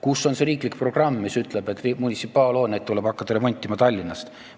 Kus on riiklik programm, mis ütleb, et munitsipaalhooneid tuleb hakata remontima Tallinnast?